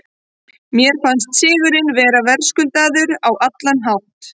Mér fannst sigurinn vera verðskuldaður á allan hátt.